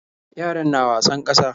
Yaran na wasan ƙasa.